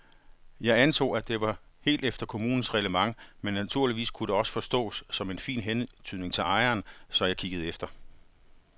Jeg antog, at det var helt efter kommunens reglement men naturligvis kunne det også forstås som en fin hentydning til ejeren, så jeg kiggede efter.